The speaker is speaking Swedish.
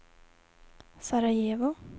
Sarajevo